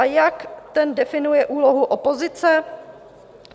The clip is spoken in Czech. A jak ten definuje úlohu opozice?